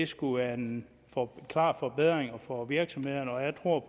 skulle være en klar forbedring for virksomhederne og jeg tror